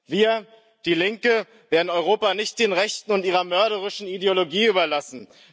Wir, die Linke, werden Europa nicht den Rechten und ihrer mörderischen Ideologie überlassen.